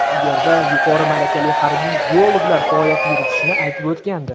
u yerda yuqori malakali harbiy biologlar faoliyat yuritishini aytib o‘tgandi.